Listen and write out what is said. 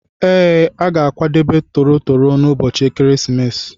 Ee, a ga-akwadebe toro toro n'ụbọchị ekeresimesi.